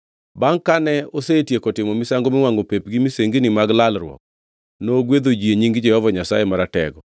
Bangʼ kane osetieko timo misango miwangʼo pep gi misengini mag lalruok, nogwedho ji e nying Jehova Nyasaye Maratego.